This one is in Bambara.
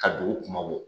Ka dugu kuma bɔ